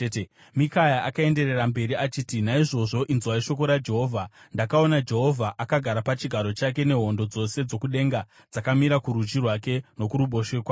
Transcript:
Mikaya akaenderera mberi achiti, “Naizvozvo inzwai shoko raJehovha: Ndakaona Jehovha akagara pachigaro chake nehondo dzose dzokudenga dzakamira kurudyi rwake nokuruboshwe kwake.